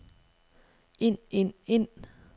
ind ind ind